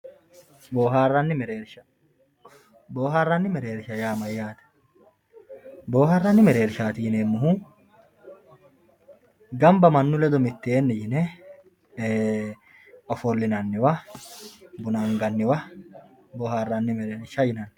Booharanni mereerrisha, booharanni mereerrisha yaa mayate, boohaaranni mereerrishati yineemohu gamba manu ledo mitteenni yine ofolinaniwa buna anganniwa boohaaranni mereerrisha yinanni